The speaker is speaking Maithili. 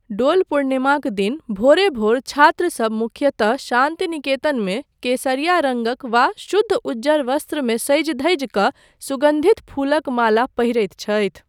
डोल पूर्णिमाक दिन भोरे भोर छात्रसब मुख्यतः शान्तिनिकेतनमे केसरिया रङ्गक वा शुद्ध उज्जर वस्त्रमे सजि धजि कऽ सुगन्धित फूलक माला पहिरैत छथि।